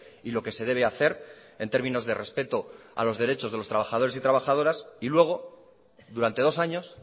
y lo que se debe hacer en términos de respeto a los derechos de los trabajadores y trabajadoras y luego durante dos años